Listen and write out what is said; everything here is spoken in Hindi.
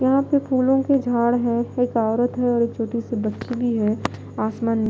यहां पे फूलों के झाड़ है एक औरत है और एक छोटी सी बच्ची भी है आसमान न--